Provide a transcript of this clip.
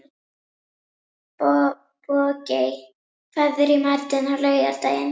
Bogey, hvað er í matinn á laugardaginn?